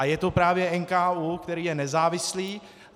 A je to právě NKÚ, který je nezávislý.